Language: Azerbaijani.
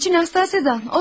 Hizmetçi Nastasya'dan.